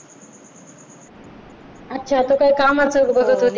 अच्छा तर काय कामाचचं बघत होते का?